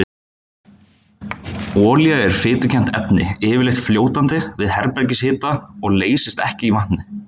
Olía er fitukennt efni, yfirleitt fljótandi við herbergishita og leysist ekki í vatni.